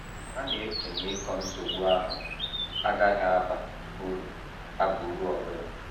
Ha na - eche na ịkọ nsogbu ahụ agaghị aba uru aba uru ọ bụla.